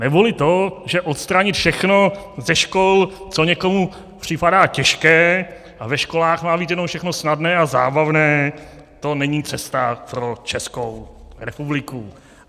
Neboli to, že odstranit všechno ze škol, co někomu připadá těžké, a ve školách má být jenom všechno snadné a zábavné, to není cesta pro Českou republiku.